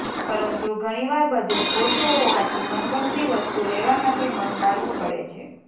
પરંતુ ઘણીવાર બજેટ ઓછું હોવાથી મનગમતી વસ્તુ લેવા માટે મન મારવું પડે છે